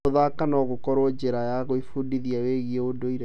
Gũthaka no gũkorwo njĩra ya gwĩbundithia wĩgiĩ ũndũire.